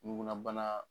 Ɲugulabana